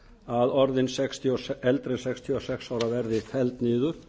að orðin eldri en sextíu og sex ára verði felld niður